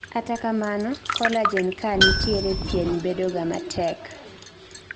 kata kamano, collagen kaa nitie, pien bedoga matek